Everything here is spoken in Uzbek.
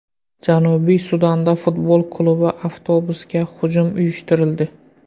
Janubiy Sudanda futbol klubi avtobusiga hujum uyushtirildi.